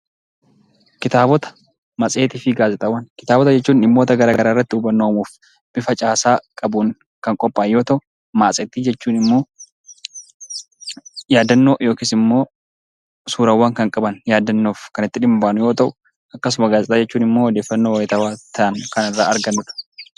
Kitaabota jechuun dhimmoota garaa garaa irratti hubannoo uumuuf, bifa caasaa qabuun kan qophaa'e yoo ta'u, matseetii jechuun immoo yaadannoo yookiis immoo suurawwan kan qaban yaadannoof kan itti dhimma baanu yoo ta'u, akkasuma gaazexaa jechuun immoo odeeffannoo wayitaawwaa ta'an kan irraa argannudha.